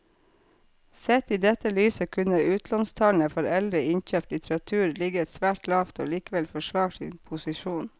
Sett i dette lyset kunne utlånstallene for eldre innkjøpt litteratur ligget svært lavt og likevel forsvart sin posisjon.